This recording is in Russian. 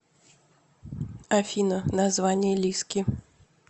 афина название лиски